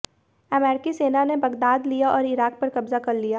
अमेरिकी सेना ने बगदाद लिया और इराक पर कब्जा कर लिया